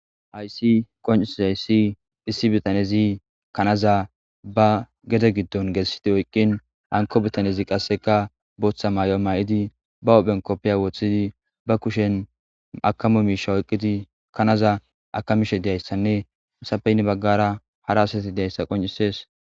Haysi qoncizayssi issi bitanezi kanaza ba gede giddon geessidi oyqqin hanko bitanezi qasseka booththa may7o maay7idi ba ophphen koppiya woththidi ba kushen makamu miisha oyqqidi kanaza akamishe diyayssanne musapeynni baggara harasati diayssa qoncisees